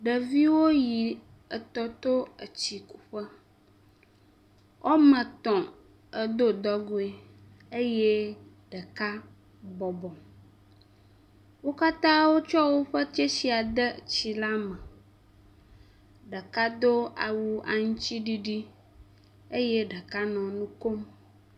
Ɖeviwo yi etɔto, etsikuƒe, woame etɔ̃ edo dɔgoe eye ɖeka bɔbɔ. Wo katã wotsɔ woƒe tsesia de tsi la me. Ɖeka do awu aŋutiɖiɖi eye ɖeka nɔ nu kom.